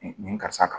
Nin karisa kan